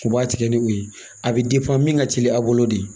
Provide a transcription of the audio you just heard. U b'a tigɛ ni o ye a bɛ min ka teli a bolo de